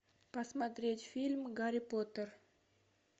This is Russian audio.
посмотреть фильм гарри поттер